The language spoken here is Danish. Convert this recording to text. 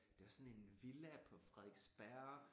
Det er sådan en villa på Frederiksberg